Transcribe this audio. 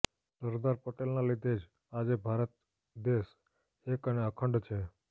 સરદાર પટેલના લીધે જ આજે ભારત દેશ એક અને અખંડ છે